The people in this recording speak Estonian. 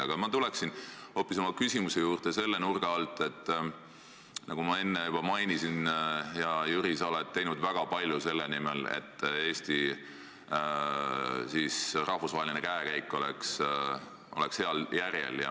Aga ma tulen oma küsimuse juurde hoopis selle nurga alt, et, nagu ma enne juba mainisin, hea Jüri, sa oled teinud väga palju selle nimel, et Eesti rahvusvaheline käekäik oleks heal järjel.